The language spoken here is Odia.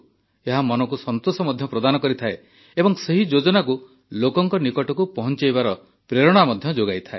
ଏହା ମନକୁ ସନ୍ତୋଷ ମଧ୍ୟ ପ୍ରଦାନ କରିଥାଏ ଏବଂ ସେହି ଯୋଜନାକୁ ଲୋକଙ୍କ ନିକଟକୁ ପହଞ୍ଚାଇବାର ପ୍ରେରଣା ମଧ୍ୟ ଯୋଗାଇଥାଏ